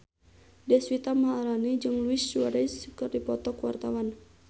Deswita Maharani jeung Luis Suarez keur dipoto ku wartawan